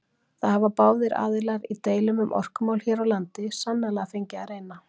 Það hafa báðir aðilar í deilum um orkumál hér á landi sannarlega fengið að reyna.